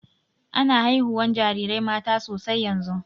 Ana haihuwan jarirai mata sosai yanzun.